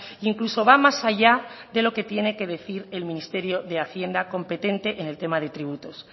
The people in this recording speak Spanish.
e incluso va más allá de lo que tiene que decir el ministerio de hacienda competente en el tema de tributos